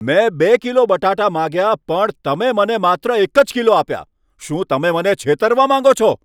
મેં બે કિલો બટાટા માંગ્યા પણ તમે મને માત્ર એક જ કિલો આપ્યા! શું તમે મને છેતરવા માગો છો?